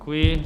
Děkuji.